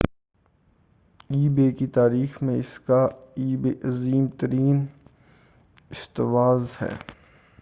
ای بے ebay کی تاریخ میں یہ اس کا عظیم ترین استحواذ ہے۔